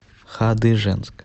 хадыженск